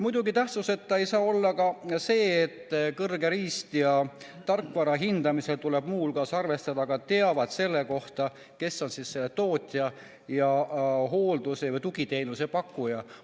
Muidugi tähtsuseta ei saa olla ka see, et kõrge riist- ja tarkvara hindamisel tuleb muu hulgas arvestada ka teavet selle kohta, kes on selle tootja ja hooldus- või tugiteenuse pakkuja.